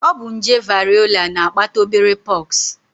Ọ bụ nje variọla na-akpata obere pox